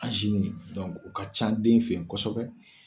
o ka ca den fɛ kosɛbɛ